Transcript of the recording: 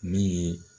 Min ye